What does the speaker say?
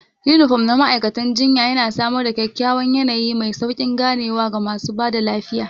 Unifom na ma'aikatan jinya yana samar da kyakkyawan yanayi mai sauƙin ganewa ga masu ba da lafiya.